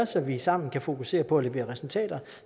så vi sammen kan fokusere på at levere resultater